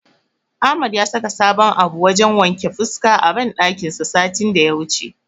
Ahmad ya saka sabon abun wajen wanke fuska a banɗakin sa satin daya wuce.